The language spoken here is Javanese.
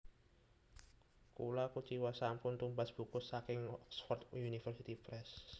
Kula kuciwa sampun tumbas buku saking Oxford University Press